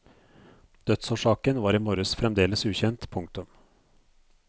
Dødsårsaken var i morges fremdeles ukjent. punktum